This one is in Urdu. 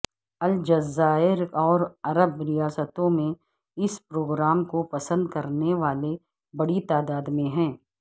الجزائر اور عرب ریاستوں میں اس پروگرام کو پسند کرنے والے بڑی تعداد میں ہیں